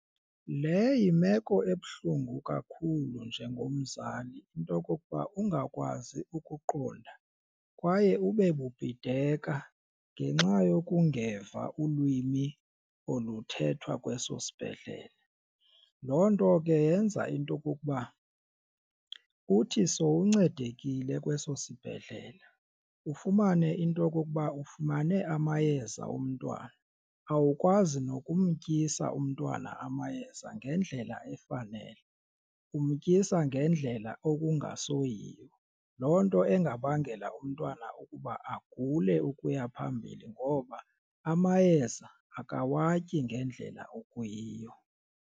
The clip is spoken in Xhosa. Le yimeko ebuhlungu kakhulu njengomzali into yokokuba ungakwazi ukuqonda kwaye ube bubhideka ngenxa yokungeva ulwimi oluthethwa kweso sibhedlele. Loo nto ke yenza into okokuba uthi sowuncedekile kweso sibhedlele ufumane into okokuba ufumane amayeza omntwana awukwazi nokumtyisa umntwana amayeza ngendlela efanele. Umtyisa ngendlela okungasoyiyo loo nto engabangela umntwana ukuba agule ukuya phambili ngoba amayeza akawatyi ngendlela okuyiyo.